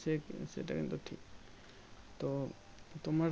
সেটাই সেটা কিন্তু ঠিক তো তোমরা